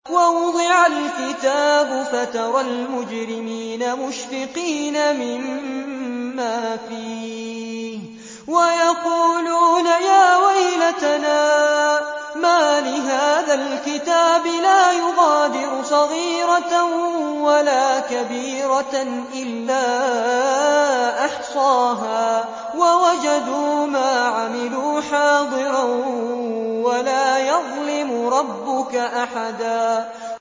وَوُضِعَ الْكِتَابُ فَتَرَى الْمُجْرِمِينَ مُشْفِقِينَ مِمَّا فِيهِ وَيَقُولُونَ يَا وَيْلَتَنَا مَالِ هَٰذَا الْكِتَابِ لَا يُغَادِرُ صَغِيرَةً وَلَا كَبِيرَةً إِلَّا أَحْصَاهَا ۚ وَوَجَدُوا مَا عَمِلُوا حَاضِرًا ۗ وَلَا يَظْلِمُ رَبُّكَ أَحَدًا